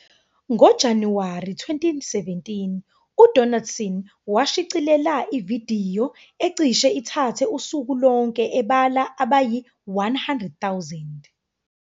NgoJanuwari 2017, uDonaldson washicilela ividiyo ecishe ithathe usuku lonke ebala abayi-100,000.